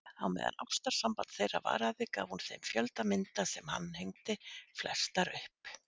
Á meðan ástarsamband þeirra varaði gaf hún þeim fjölda mynda sem hann hengdi flestar upp.